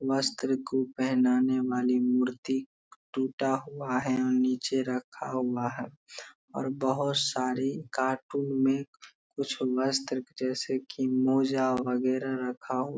वस्त्र को पेहनाने वाली मूर्ति टूटा हुआ है और नीचे रखा हुआ है और बहुत सारे कार्टून में कुछ वस्त्र जैसे की मोजा वगेरा रखा हु --